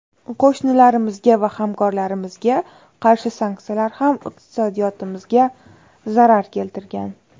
Qo‘shnilarimizga va hamkorlarimizga qarshi sanksiyalar ham iqtisodiyotimizga zarar keltirgan.